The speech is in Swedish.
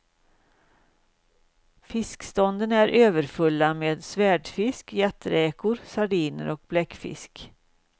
Fiskstånden är överfulla med svärdfisk, jätteräkor, sardiner och bläckfisk.